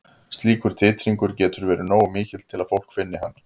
Slíkur titringur getur verið nógu mikill til að fólk finni hann.